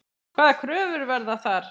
Hvaða kröfur verða þar?